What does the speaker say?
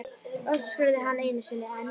öskraði hann einu sinni enn.